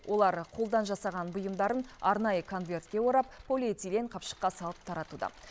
олар қолдан жасаған бұйымдарын арнайы конвертке орап полиэтилен қапшыққа салып таратуда